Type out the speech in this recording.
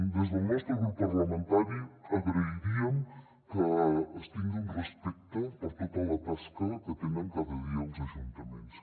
des del nostre grup parlamentari agrairíem que es tingui un respecte per tota la tasca que tenen cada dia els ajuntaments